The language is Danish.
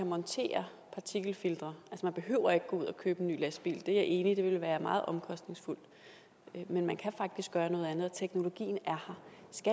montere partikelfiltre man behøver ikke at gå ud og købe en ny lastbil det er jeg enig i ville være meget omkostningsfuldt men man kan faktisk gøre noget andet og teknologien er